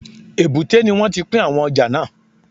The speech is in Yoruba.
Èbúté ni wọ́n ti pín àwọn ọjà náà